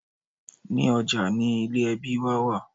Ní ọjà ni ilé ẹbí wa wà